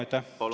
Jaa, aitäh!